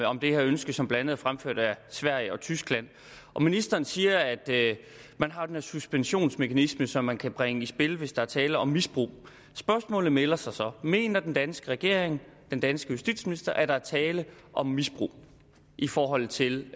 om det her ønske som blandt andet er fremført af sverige og tyskland og ministeren siger at man har den her suspensionsmekanisme som man kan bringe i spil hvis der er tale om misbrug spørgsmålet melder sig så mener den danske regering den danske justitsminister at der er tale om misbrug i forhold til